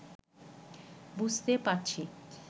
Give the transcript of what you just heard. বুঝতে পারছি